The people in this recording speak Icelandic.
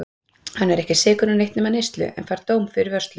Hann er ekki sekur um neitt nema neyslu, en fær dóm fyrir vörslu.